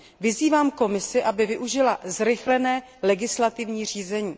Vyzývám Komisi, aby využila zrychlené legislativní řízení.